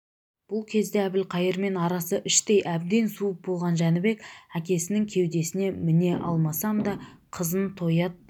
бұл кезде әбілқайырмен арасы іштей әбден суып болған жәнібек әкесінің кеудесіне міне алмасам да қызын тоят